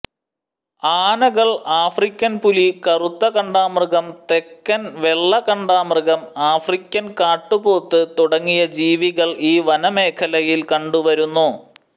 ആനകൾ ആഫ്രിക്കൻ പുലി കറുത്ത കണ്ടാമൃഗം തെക്കൻ വെള്ള കണ്ടാമൃഗം ആഫ്രിക്കൻ കാട്ടുപോത്ത് തുടങ്ങിയ ജീവികൾ ഈ വനമേഖലയിൽ കണ്ടുവരുന്നു